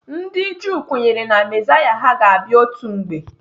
Ndị Juu kwenyere Na mezaya ha ga-abịa otu mgbe.